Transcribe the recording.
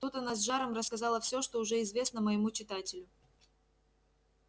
тут она с жаром рассказала всё что уже известно моему читателю